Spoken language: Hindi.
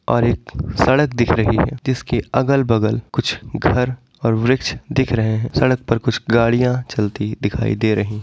और एक सड़क दिख रही है जिसके अगल-बगल कुछ घर ओर वृक्ष दिख रहे है सड़क पर कुछ गड़िया चलती दिखाई दे रही--